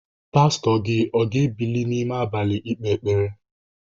Pastọ gị o ga-ebili n'ime abalị ekpe ekpere?